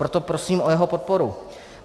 Proto prosím o jeho podporu.